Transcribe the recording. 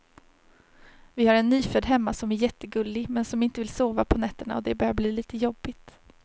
Vi har en nyfödd hemma som är jättegullig, men som inte vill sova på nätterna och det börjar bli lite jobbigt.